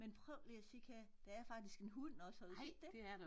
Men prøv lige at kigge her der er faktisk en hund også har du set det?